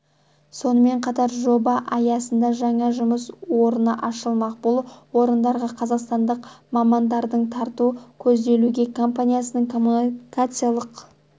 сонымен қатар жоба аясында жаңа жұмыс орны ашылмақ бұл орындарға қазақстандық мамандарды тарту көзделуде компаниясының коммуникация